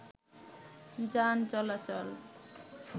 যান চলাচল